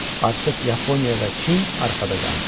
Artıq Yaponiya və Çin arxada qalmışdı.